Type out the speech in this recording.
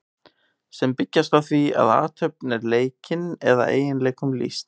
sem byggjast á því að athöfn er leikin eða eiginleikum lýst